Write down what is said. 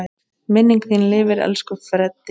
Minning þín lifir, elsku Freddi.